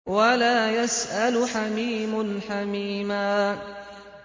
وَلَا يَسْأَلُ حَمِيمٌ حَمِيمًا